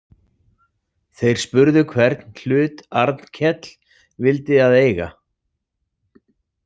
Þeir spurðu hvern hlut Arnkell vildi að eiga.